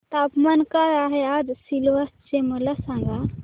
तापमान काय आहे आज सिलवासा चे मला सांगा